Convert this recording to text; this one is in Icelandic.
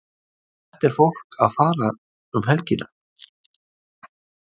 En hvert er fólk að fara um helgina?